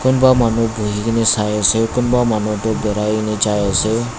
kunba manu buhikaena saii ase kunba manu toh birai kaena jaiase.